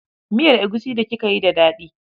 Miyar egusi d kika yi da daɗi